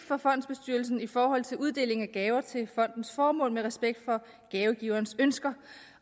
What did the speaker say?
for fondsbestyrelsen i forhold til uddeling af gaver til fondens formål med respekt for gavegiverens ønsker